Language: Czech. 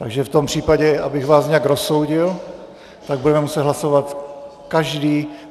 Takže v tom případě, abych vás hned rozsoudil, tak budeme muset hlasovat každý...